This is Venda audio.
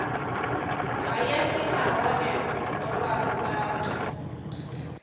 hayani nahone vho ṱuvha vhathu